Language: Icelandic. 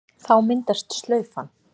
Þá myndast slaufan.